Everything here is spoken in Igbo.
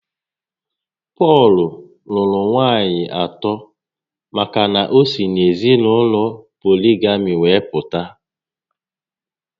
Pọl lụrụ nwaànyị atọ maka na o si n'ezinaụlọ poligami were pụta